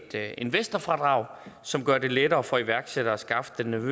investorfradrag som gør det lettere for iværksættere at skaffe den